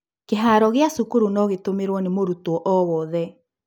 Kĩharo gĩa cukuru no gĩtũmĩrwo nĩ mũrutwo o wothe.